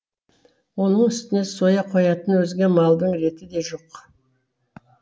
оның үстіне соя қоятын өзге малдың реті де жоқ